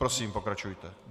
Prosím, pokračujte.